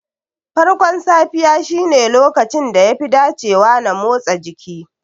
Farkon safiya shine lokacin da yafi dacewa na motsa jiki.